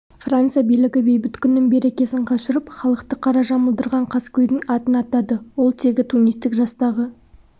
франция билігі бейбіт күннің берекесін қашырып халықты қара жамылдырған қаскөйдің атын атады ол тегі тунистік жастағы